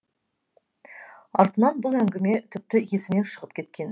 артынан бұл әңгіме тіпті есімнен шығып кеткен ді